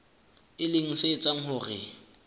e leng se etsang hore